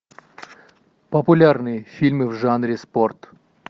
популярные фильмы в жанре спорт